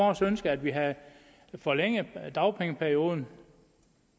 også ønske at vi havde forlænget dagpengeperioden